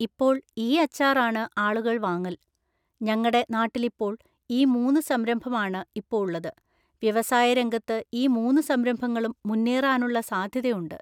ഇപ്പൊൾ ഈ അച്ചാറാണ് ആളുകള് വാങ്ങല്. ഞങ്ങടെ നാട്ടിലിപ്പോൾ ഈ മൂന്ന് സംരംഭാണ് ഇപ്പൊ ഉള്ളത്. വ്യവസായ രംഗത്ത് ഈ മൂന്ന് സംരംഭങ്ങളും മുന്നേറാനുള്ള സാധ്യതയുണ്ട്